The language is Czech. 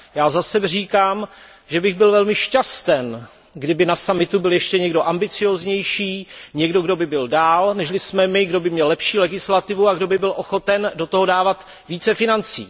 Já zase říkám, že bych byl velmi šťasten, kdyby na summitu byl ještě někdo ambicióznější, někdo kdo by byl dál, než li jsme my, kdo by měl lepší legislativu a kdo by byl ochoten do toho dávat více financí.